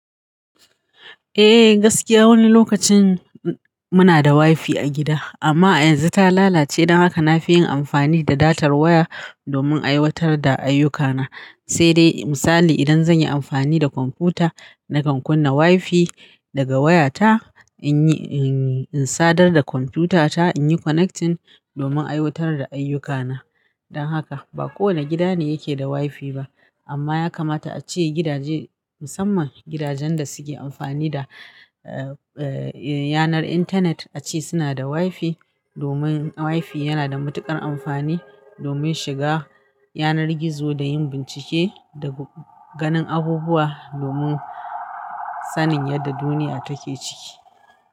Eh gaskiya wani lokacin muna da WiFi a gida amma a yanzu ta lalace don haka na fi yin amfani da datar waya domin aiwatar da ayyukana. Sai dai misali idan zan yi amfani da kwamfuta nakan kunna WiFi daga wayata in yi, in sadar da kwamfutata in yi connecting domin aiwatar da ayyukana. Don haka ba kowane gida ne yake da WiFi ba amma ya kamata a ce gidaje musamman gidajen da suke amfani da, eh, yanar intanet a ce suna da WiFi domin WiFi yana da matuƙar amfani domin shiga yanar gizo da yin bincike da ganin abubuwa domin sanin yadda duniya take ciki.